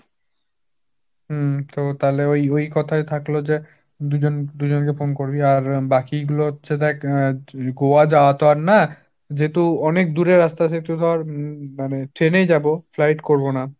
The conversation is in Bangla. হু, তো তাহলে ওই ওই কথাই থাকলো যে দুজন দুজন কে phone করবি, আর বাকি গুলো হচ্ছে দেখ আহ গোয়া যাওয়া তো আর না, যেহেতু অনেক দূরের রাস্তা যেহেতু ধর মানে ট্রেনেই যাব, flight করবো না।